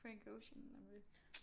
Frank Ocean